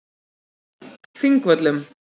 Þingvöllum